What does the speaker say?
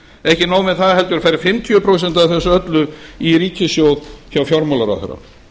ekki nóg með það heldur fer fimmtíu prósent af þessu öllu í ríkissjóð hjá fjármálaráðherra